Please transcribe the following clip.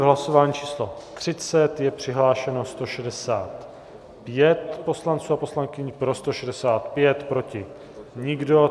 V hlasování číslo 30 je přihlášeno 165 poslanců a poslankyň, pro 165, proti nikdo.